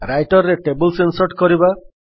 Writer ରେ tables insert କରିବା